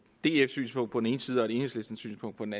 df synspunkt på den ene side og et enhedslisten synspunkt på den